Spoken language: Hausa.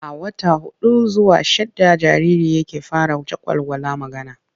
A wata huɗu zuwa shidda jariri yake fara jagwalgwala magana.